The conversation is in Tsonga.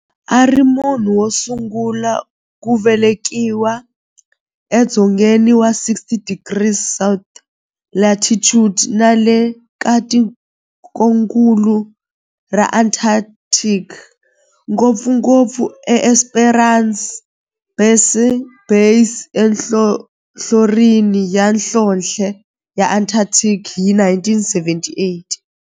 Ari munhu wosungula ku velekiwa e dzongeni wa 60 degrees south latitude nale ka tikonkulu ra Antarctic, ngopfungopfu e Esperanza Base enhlohlorhini ya nhlonhle ya Antarctic hi 1978.